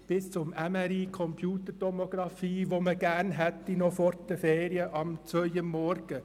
bis zur MRI-Computertomografie um 02.00 Uhr am Morgen, die man gerne noch vor den Ferien hätte.